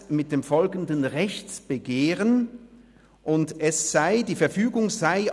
Dort heisst es mit dem folgenden Rechtsbegehren: «Die Verfügung […